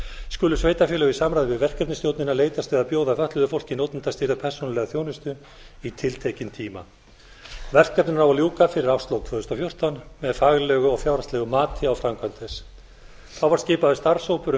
skulu sveitarfélög í samráði við verkefnisstjórnina leitast við að bjóða fötluðu fólki notendastýrða persónulega þjónustu í tiltekinn tíma verkefninu á að ljúka fyrir árslok tvö þúsund og fjórtán með faglegu og fjárhagslegu mati á framkvæmd þess þá var skipaður starfshópur um